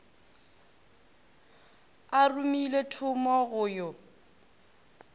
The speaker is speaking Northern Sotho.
a romile thomo go yo